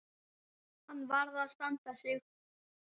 Hann varð að standa sig.